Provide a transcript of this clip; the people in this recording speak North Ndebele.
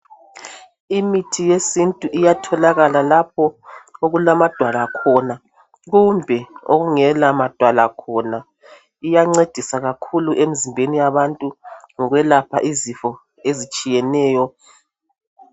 Imithi yesintu iyatholalakala lapho okulamadwala khona kumbe lapho okungela madwala khona iyancedisa kakhulu emzimbeni yabantu ngokuyelapha izifo ezitshiyeneyo